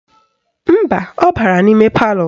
Mba, ọ bara n'ime palọ